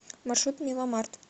маршрут миломарт